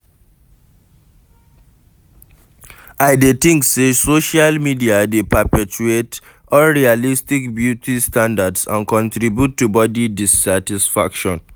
I dey think say social media dey perpetuate unrealistic beauty standards and contribute to body dissatisfaction.